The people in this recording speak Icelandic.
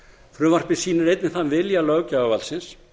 frumvarpið sýnir einnig þann vilja löggjafarvaldsins